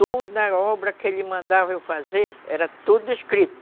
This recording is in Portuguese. Toda obra que ele mandava eu fazer era tudo escrito.